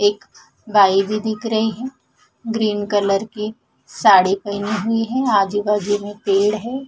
एक बाई भी दिख रई है ग्रीन कलर की साडी पेनी हुई है आजू बाजू में पेड़ है।